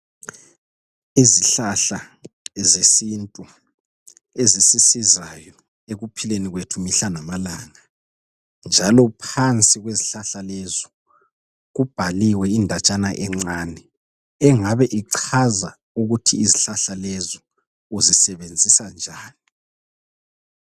Izihlahla zesintu ezisisizayo ekuphileni kwethu mihla lamalanga njalo phansi kwezihlahla lezi kubhaliwe indatshana encane engabe ichaza ukuthi izihlahla lezi uzisebenzisa njani.